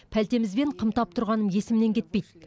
пәлтемізбен қымтап тұрғаным есімнен кетпейді